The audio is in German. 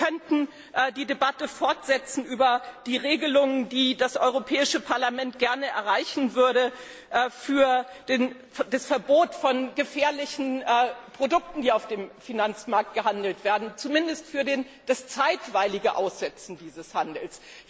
Wir könnten die Debatte über die Regelungen, die das Europäische Parlament gern erreichen würde, fortsetzen für das Verbot von gefährlichen Produkten, die auf dem Finanzmarkt gehandelt werden, zumindest für das zeitweilige Aussetzen des Handels.